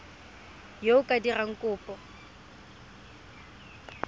yo o ka dirang kopo